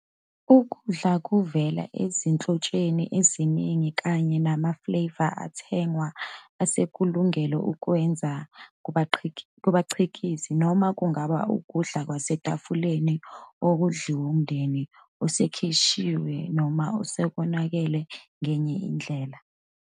Ukudla kuvela ezinhlotsheni eziningi kanye nama-flavour athengwa esekulungele ukwenziwa kubakhiqizi, noma kungaba ukudla kwasetafuleni okudliwe ngumndeni osikishiwe noma okonakele ngenye indlela.